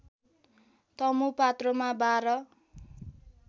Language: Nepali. तमु पात्रोमा १२